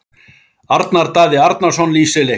Arnar Daði Arnarsson lýsir leiknum.